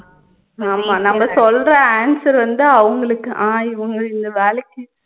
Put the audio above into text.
ஆமா நம்ம சொல்ற answer வந்து அவங்களுக்கு அஹ் இவங்க இந்த வேலைக்கு